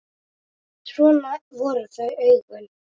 Svo voru það augun.